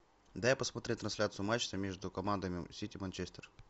дай посмотреть трансляцию матча между командами сити манчестер